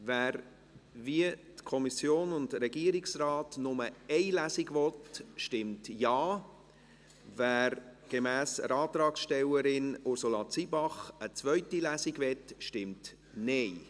Wer – wie die Kommission und der Regierungsrat – nur eine Lesung will, stimmt Ja, wer gemäss der Antragstellerin, Ursula Zybach eine zweite Lesung will, stimmt Nein.